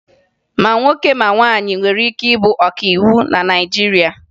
Ma nwoke ma nwaanyị nwere ike ịbụ ọkàiwu na Naịjirịa